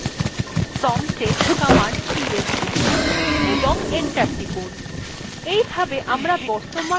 promptএ command ps লিখুন এবং enter টিপুন